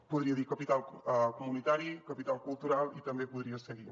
podria dir capital comunitari capital cultural i també podria seguir